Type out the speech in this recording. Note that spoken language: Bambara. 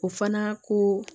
O fana ko